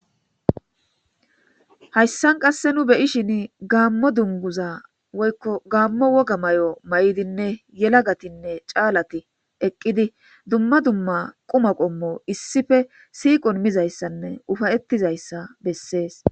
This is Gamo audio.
Haysan qase nu beyishin gamo duguza woyko gamo woga mayo mayidinne yelagatinne callati duma duma quma qommo issippe siiqo mizaysanne upaysizaysa besees.